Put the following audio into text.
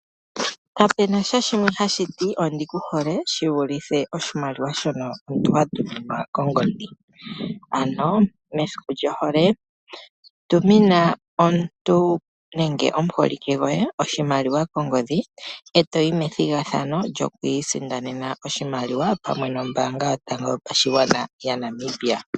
Kapena sha shimwe ha shiti ondi kuhole shi vulithe oshimaliwa shono omuntu ha tuminwa kongodhi. Ano mesiku lyohole tumina omuntu nenge omuholike goye oshimaliwa kongodhi, eto yi methigathano lyo kwiisindanena oshimaliwa pamwe nombaanga yotango yo pashigwana yaNamibia.